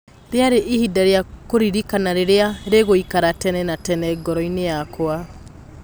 " Rĩarĩ ihinda rĩa kĩririkana rĩrĩa rĩgũikara tene na tene ngoroinĩ yakwa."